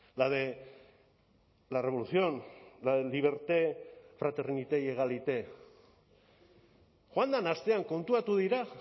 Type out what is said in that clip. la de la revolución la de liberté fraternité y égalité joan den astean konturatu dira